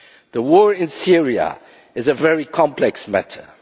The war in Syria is a very complex matter.